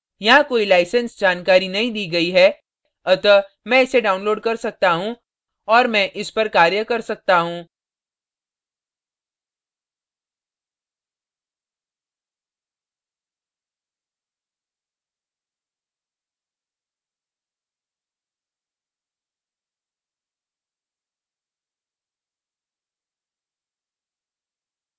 यहाँ कोई license जानकारी नहीं दी गई है अतः मैं इसे download कर सकता हूँ और मैं इस पर कार्य कर सकता हूँ